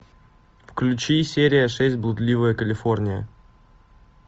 включи серия шесть блудливая калифорния